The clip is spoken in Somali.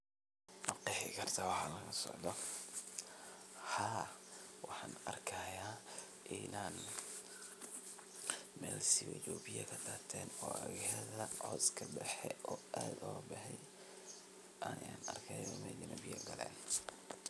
Ha waxan arkaya inan Mel siwij biyo kadad ten iyo daxdhodha cos badhan udaxeyo iyo biyo badhan galen